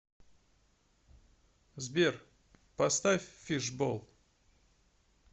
сбер поставь фишбол